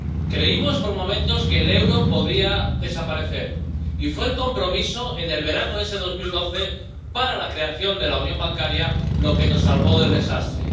Creímos por momentos que el euro podía desaparecer y fue el compromiso en el verano de ese 2012 para la creación de la unión bancaria lo que nos salvó del desastre.